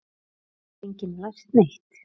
Hefur enginn lært neitt?